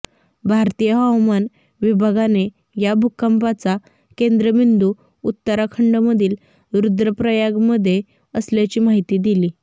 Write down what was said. भारतीय हवामान विभागाने या भूकंपाचा केंद्रबिंदू उत्तराखंडमधील रुद्रप्रयागमध्ये असल्याची माहिती दिली